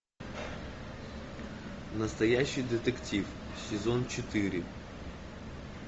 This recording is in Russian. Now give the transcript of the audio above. настоящий детектив сезон четыре